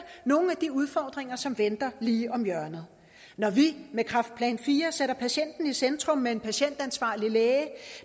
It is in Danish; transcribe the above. nogle af de udfordringer som venter lige om hjørnet når vi med kræftplan iv sætter patienten i centrum med en patientansvarlig læge